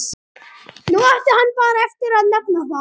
Nú átti hann bara eftir að nefna það.